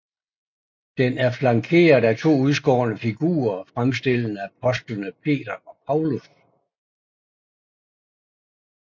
Den er flankeret af to udskårne figurer fremstillende apostlene Peter og Paulus